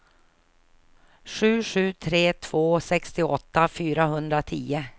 sju sju tre två sextioåtta fyrahundratio